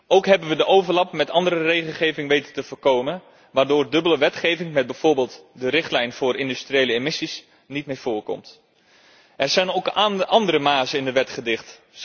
Ook hebben we de overlapping met andere regelgeving weten te voorkomen, waardoor dubbele wetgeving met bijvoorbeeld de richtlijn voor industriële emissies niet meer voorkomt. Er zijn ook andere mazen in de wet gedicht.